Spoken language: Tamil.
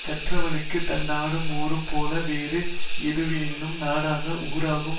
கற்றவனுக்கு தன் நாடும் ஊரும் போல வேறு எதுவாயினும் நாடாகும் ஊராகும்